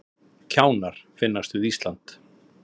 Kjánar finnast við Ísland